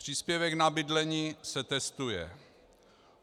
Příspěvek na bydlení se testuje.